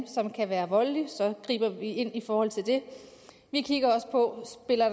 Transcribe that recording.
som kan være voldelig så griber vi ind i forhold til det vi kigger også på